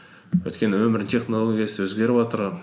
өйткені өмірдің технологиясы өзгеріватыр